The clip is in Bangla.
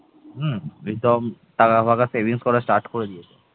হম রিতম টাকা ফাঁকা savings করা start করে দিয়েছে